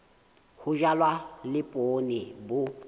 ho jalwa le poone bo